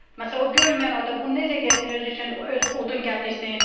Məsələn, o görməyən adam o necə getsin özü üçün öz odun gətirsin?